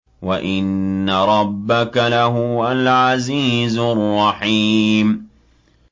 وَإِنَّ رَبَّكَ لَهُوَ الْعَزِيزُ الرَّحِيمُ